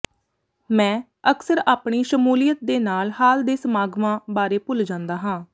ਮੈਂ ਅਕਸਰ ਆਪਣੀ ਸ਼ਮੂਲੀਅਤ ਦੇ ਨਾਲ ਹਾਲ ਦੇ ਸਮਾਗਮਾਂ ਬਾਰੇ ਭੁੱਲ ਜਾਂਦਾ ਹਾਂ